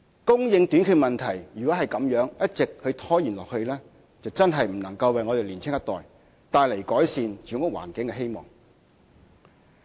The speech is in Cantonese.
供應短缺問題如果一直拖延下去，真的不能為香港年輕一代帶來改善住屋環境的希望。